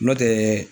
N'o tɛ